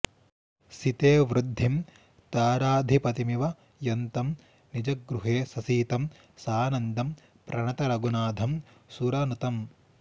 सिते वृद्धिं ताराधिपतिमिव यन्तं निजगृहे ससीतं सानन्दं प्रणत रघुनाथं सुरनुतम्